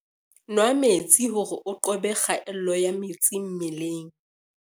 Nwaa metsi hore o qobe kgaello ya metsi mmeleng